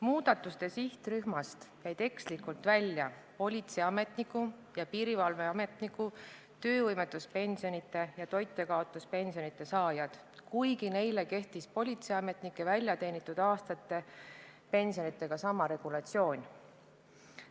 Muudatuste sihtrühmast jäid ekslikult välja politseiametniku ja piirivalveametniku töövõimetuspensioni ja toitjakaotuspensioni saajad, kuigi neile kehtis politseiametniku väljateenitud aastate pensioni saajatega sama regulatsioon.